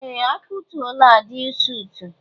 Ee! A kụtuola Aịdịil suut.